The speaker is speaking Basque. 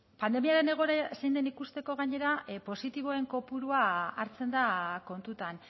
pandemiaren egoera zein den ikusteko gainera positiboen kopurua hartzen da kontutan